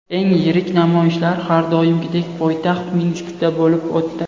Eng yirik namoyishlar har doimgidek poytaxt Minskda bo‘lib o‘tdi.